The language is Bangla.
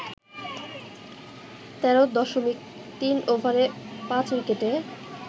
১৩.৩ ওভারে ৫ উইকেটে